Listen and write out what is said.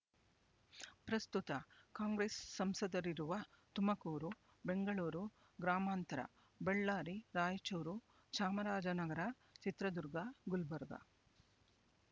ಪ್ರಸ್ತುತ ಕಾಂಗ್ರೆಸ್ ಸಂಸದರಿರುವ ತುಮಕೂರು ಬೆಂಗಳೂರು ಗ್ರಾಮಾಂತರ ಬಳ್ಳಾರಿ ರಾಯಚೂರು ಚಾಮರಾಜನಗರ ಚಿತ್ರದುರ್ಗ ಗುಲ್ಬರ್ಗ